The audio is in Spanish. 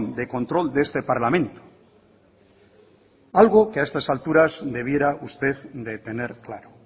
de control de este parlamento algo que a estas alturas debiera usted de tener claro